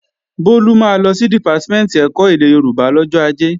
Bólú máa lọ sí Dìpátímẹ̀ntì ẹ̀kọ́ èdè Yorùbá lọ́jọ́ Ajé